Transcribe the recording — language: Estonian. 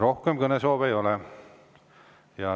Rohkem kõnesoove ei ole.